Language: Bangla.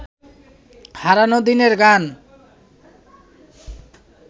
হারানো দিনের গান